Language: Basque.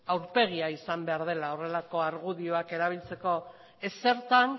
aurpegia izan behar dela horrelako argudioak erabiltzeko ezertan